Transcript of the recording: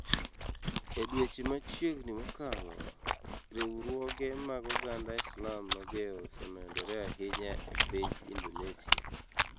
E dweche machiegni mokalo, riwruoge mag oganda Islam mager osemedore ahinya e piny Indonesia.